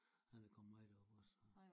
Han er kommet med derop også